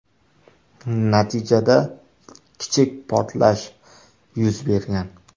Natijada kichik portlash yuz bergan.